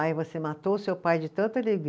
Ai, você matou o seu pai de tanta